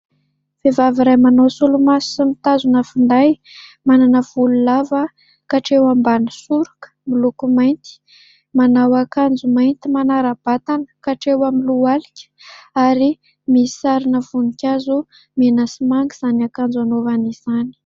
Vehivavy iray manao solomaso sy mitazona finday, manana volo lava hatreo ambany soroka miloko mainty, manao akanjo mainty manara-batana hatreo amin'ny lohalika ary misy sarina voninkazo mena sy manga izany akanjo anaovany izany.